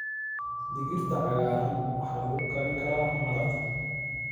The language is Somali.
Digirta cagaaran waxaa lagu karin karaa maraq.